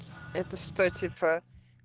это что типа